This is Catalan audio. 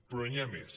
però n’hi ha més